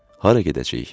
Hara gedəcəyik?